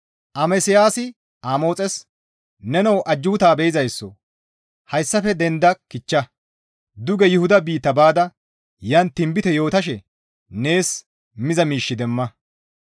Amasiyaasi Amoxes, «Nenoo ajjuuta be7izayssoo! Hayssafe denda kichcha; duge Yuhuda biitta baada heen tinbite yootashe nees miza miish demma.